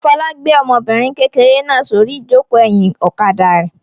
Fọlá gbé ọmọbìnrin kékeré náà sórí ìjókòó ẹ̀yìn ọ̀kadà rẹ̀.